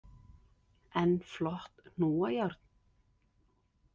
Enn flott hnúajárn!